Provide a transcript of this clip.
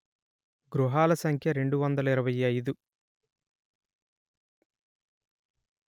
గృహాల సంఖ్య రెండు వందలు ఇరవై అయిదు